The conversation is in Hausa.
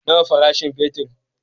Nawa farashin fetir?